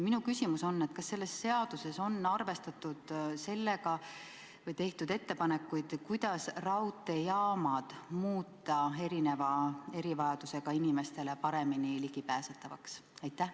Kas selles seaduses on sellega arvestatud või on tehtud ettepanekuid, kuidas raudteejaamad muuta erivajadustega inimestele paremini ligipääsetavaks?